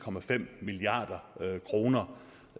milliard